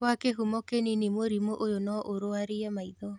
Kwa kĩhumo kĩnini mũrimũ ũyũ no ũrwarie maitho